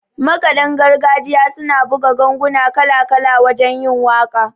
Makaɗan gargajiya suna buga ganguna kala-kala wajen yin waƙa